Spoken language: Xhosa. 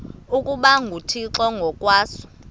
ukuba nguthixo ngokwaso